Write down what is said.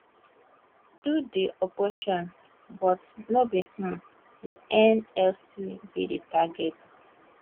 do di operation but no be um di nlc be di target